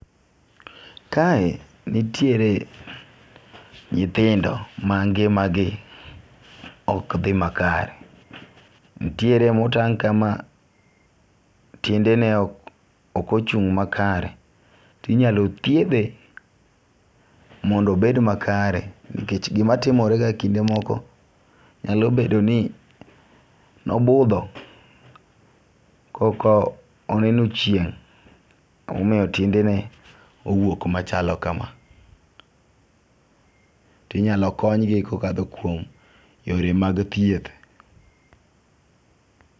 Kae nitiere nyithindo mangima gi ok dhi makare. Nitiere motang' kama tiendene ok ochung' makare. Tinyalo thiedhe mondo obed makare. Nikech gima timore ga ekinde moko nyalo bedo ni nobudho ko ok oneno chieng' emomiyo tiendene owuok machalo kama. Tinyalo konygi kokadho kuom yore mag thieth.